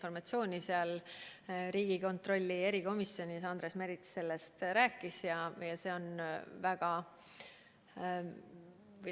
Riigieelarve kontrolli erikomisjonis Andres Merits rääkis sellest.